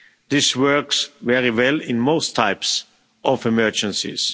This works very well in most types of emergencies.